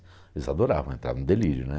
Eles adoravam, entravam em delírio, né?